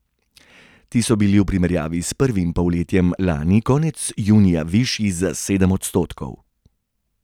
Ti so bili v primerjavi s prvim polletjem lani konec junija višji za sedem odstotkov.